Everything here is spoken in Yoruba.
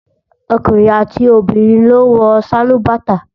Ọkùnrin àti obìnrin ló ń wọ sálúbàtà